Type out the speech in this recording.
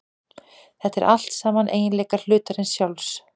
Þetta eru allt saman eiginleikar hlutarins sjálfs.